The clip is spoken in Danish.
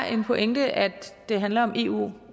er en pointe at det handler om eu